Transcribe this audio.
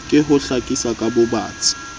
ke ho hlakisa ka bobatsi